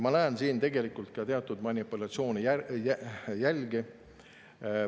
Ma näen siin ka teatud manipulatsioone jälge.